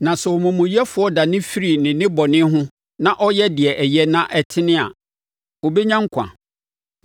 Na sɛ omumuyɛfoɔ dane firi ne nnebɔne ho na ɔyɛ deɛ ɛyɛ na ɛtene a, ɔbɛnya nkwa.